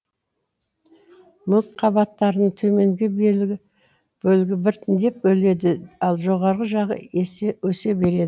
мүк қабаттарының төменгі бөлігі біртіндеп өледі ал жоғарғы жағы өсе береді